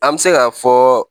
An bɛ se k'a fɔ